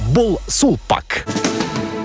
бұл сулпак